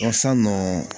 san nɔ